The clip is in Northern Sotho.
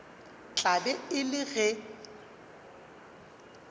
tla be e le ge